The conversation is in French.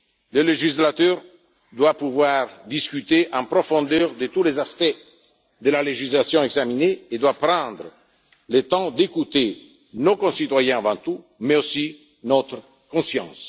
Le législateur doit pouvoir discuter en profondeur de tous les aspects de la législation examinée et doit prendre le temps d'écouter nos concitoyens avant tout, mais aussi notre conscience.